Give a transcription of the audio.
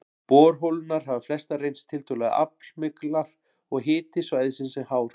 Borholurnar hafa flestar reynst tiltölulega aflmiklar, og hiti svæðisins er hár.